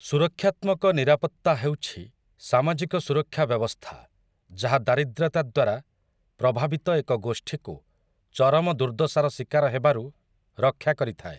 ସୁରକ୍ଷାତ୍ମକ ନିରାପତ୍ତା ହେଉଛି ସାମାଜିକ ସୁରକ୍ଷା ବ୍ୟବସ୍ଥା ଯାହା ଦାରିଦ୍ରତା ଦ୍ୱାରା ପ୍ରଭାବିତ ଏକ ଗୋଷ୍ଠୀକୁ ଚରମ ଦୁର୍ଦ୍ଦଶାର ଶିକାର ହେବାରୁ ରକ୍ଷା କରିଥାଏ ।